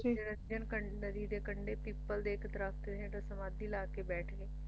ਨਿਰੰਜਰ ਨਦੀ ਦੇ ਕੰਢੇ ਪਿੱਪਲ ਦੇ ਇੱਕ ਦਰੱਖਤ ਦੇ ਹੇਠਾਂ ਸਮਾਧੀ ਲਾਕੇ ਬੈਠ ਗਏ